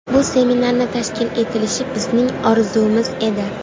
Bu seminarni tashkil etilishi bizning orzumiz edi.